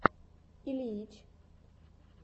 ильич